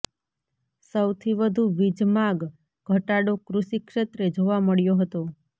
સૌથી વધુ વીજ માગ ઘટાડો કૃષિ ક્ષેત્રે જોવા મળ્યો હતો